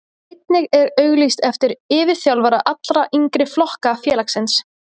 Einnig er auglýst eftir yfirþjálfara allra yngri flokka félagsins.